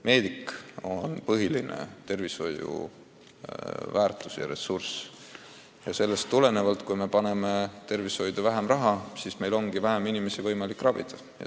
Meedik on tervishoiusüsteemis peamine väärtus ja kui me paneme tervishoidu vähem raha, siis meil ongi vähem inimesi võimalik ravida.